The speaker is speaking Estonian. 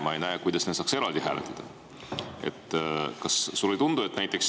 Ma ei näe, kuidas neid saaks eraldi hääletada.